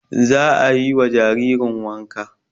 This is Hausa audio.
Za a yi wa jaririn wanka